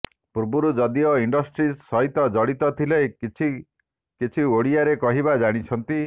ପୂର୍ବରୁ ଯଦିଓ ଇଣ୍ଡଷ୍ଟ୍ରି ସହିତ ଜଡ଼ିତ ଥିଲେ କିଛି କିଛି ଓଡ଼ିଆରେ କହିବା ଜାଣିଛନ୍ତି